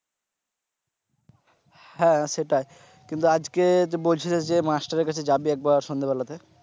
হ্যা সেটা কিন্তু আজকে যে বলছিলিস যে master এর কাছে যাবি একবার সন্ধ্যে বেলাতে।